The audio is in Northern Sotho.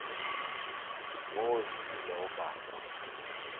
mo ke ilego ka kwa